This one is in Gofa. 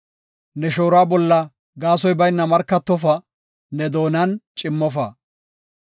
Ne shooruwa bolla gaasoy bayna markatofa; ne doonan cimmofa.